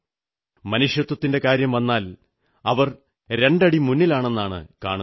മനുഷ്യത്വത്തിന്റെ കാര്യം വന്നാൽ അവർ രണ്ടടി മുന്നിലാണെന്നാണു കാണുന്നത്